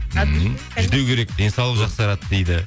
ммм жүдеу керек денсаулық жақсарады дейді